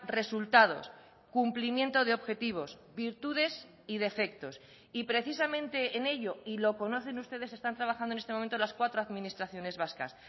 resultados cumplimiento de objetivos virtudes y defectos y precisamente en ello y lo conocen ustedes están trabajando en este momento las cuatro administraciones vascas